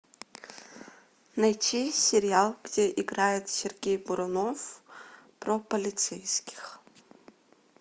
найти сериал где играет сергей бурунов про полицейских